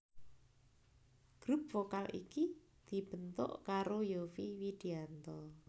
Grup vokal iki dibentuk karo Yovie Widianto